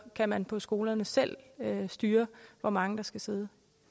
man på skolerne selv kan styre hvor mange der skal sidde